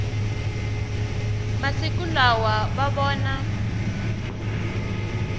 masiku lawa va vona